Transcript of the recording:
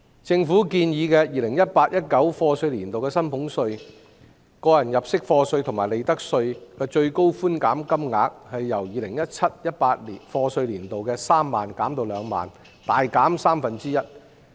政府建議 2018-2019 課稅年度的薪俸稅、個人入息課稅及利得稅的最高寬減金額由 2017-2018 課稅年度的3萬元減至2萬元，大減三分之一。